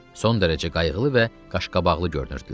Son dərəcə qayğılı və qaşqabaqlı görünürdülər.